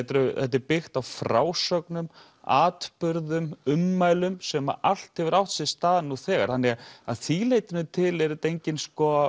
þetta er byggt á frásögnum atburðum ummælum sem allt hefur átt sér stað nú þegar þannig að að því leytinu til er þetta engin